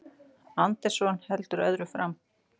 Anderson heldur öðru fram